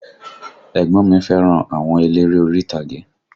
Ẹ̀gbọ́n mi fẹ́ràn àwọn eléré orí ìtàgé